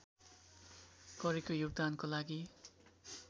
गरेको योगदानको लागि